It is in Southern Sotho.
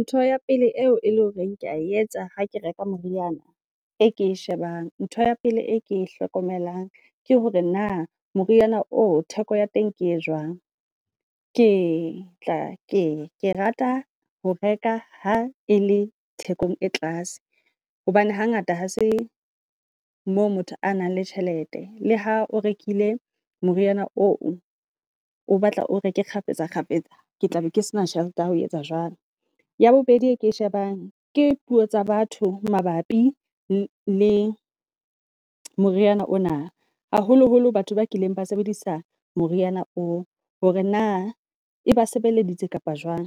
Ntho ya pele eo e leng horeng kea etsa ha ke reka moriana e ke e shebana ng. Ntho ya pele e ke hlokomelang ke hore na moriana o theko ya teng ke e jwang. Ke tla ke rata ho reka ha e le thekong e tlase hobane hangata ha se moo motho a nang le tjhelete le ha o rekile moriana o o batla, o reke kgafetsa kgafetsa. Ke tla be ke sena tjhelete ya ho etsa jwalo. Ya bobedi e ke e shebaneng ke puo tsa batho mabapi le moriana ona, haholoholo batho ba kileng ba sebedisa moriana oo. Hore na e ba sebeleditse kapa jwang